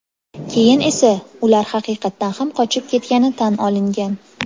Keyin esa ular haqiqatan ham qochib ketgani tan olingan.